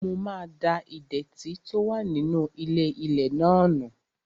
Mo máa da ìdẹ̀tì tó wà nínú ilé-ilẹ̀ náà nù